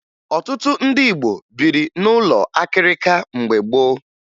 Ọtụtụ ndị Igbo biri n'ụlọ akịrịka mgbe gboo